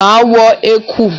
Máa wọ ẹ̀kú.